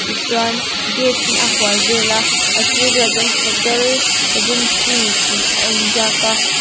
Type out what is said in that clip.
chuan gate in a hual vel a a sir vel ah chuan hote regency tih a in ziak a.